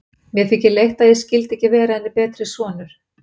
Mér þykir leitt, að ég skyldi ekki vera henni betri sonur.